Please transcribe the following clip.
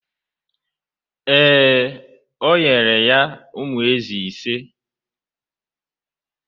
Ee, o nyere ya ụmụ ézì ise.